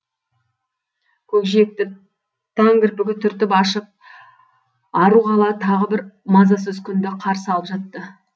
көкжиекті таң кірпігі түртіп ашып ару қала тағы бір мазасыз күнді қарсы алып жатты